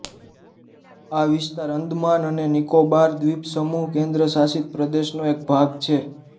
આ વિસ્તાર અંદામાન અને નિકોબાર દ્વીપસમૂહ કેન્દ્રશાસિત પ્રદેશનો એક ભાગ છે